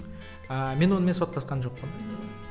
ыыы мен онымен соттасқан жоқпын